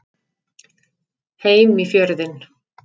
Heim í Fjörðinn.